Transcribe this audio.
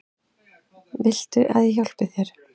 Viltu að ég hjálpi þér?